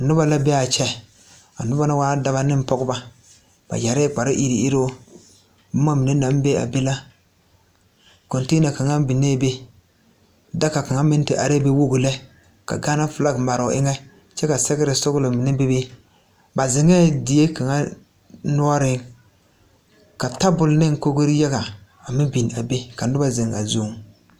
Noba la be a kyɛ a noba na waa daba ne pɔgeba ba yɛrɛɛ kparre iruŋ iruŋ boma mine naŋ be a be la koŋtɛɛna kaŋa biŋee be daga kaŋa meŋ te are la be wogi lɛ ka Gaana felaaki mare o eŋɛ kyɛ ka sɛgrɛ sɔglɔ mine be be ba zeŋɛɛ die kaŋa noɔreŋ ka tabol ne kogri yaga meŋ biŋ a be ka noba zeŋ a zu.